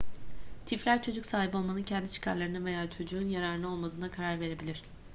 çiftler çocuk sahibi olmanın kendi çıkarlarına veya çocuğun yararına olmadığına karar verebilir